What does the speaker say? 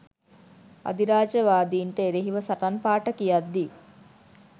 අධිරාජ්‍යවාදීන්ට එරෙහිව සටන් පාඨ කියද්දී